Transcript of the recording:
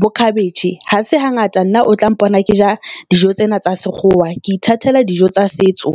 bo cabbage. Ha se hangata nna o tla mpona ke ja dijo tsena tsa sekgowa, ke ithatela dijo tsa setso.